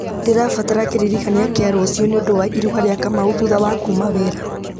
ndĩrabatara kĩririkania kĩa rũciũ nĩũndũ wa iruga rĩa kamau thutha wa kuma wĩra